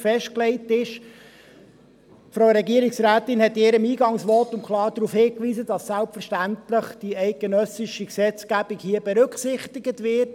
Die Frau Regierungsrätin hat in ihrem Eingangsvotum klar darauf hingewiesen, dass selbstverständlich die eidgenössische Gesetzgebung hier berücksichtigt wird;